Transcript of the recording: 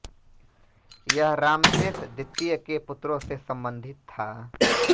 यह रामसेस द्वितीय के पुत्रों से संबंधित था